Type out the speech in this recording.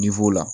la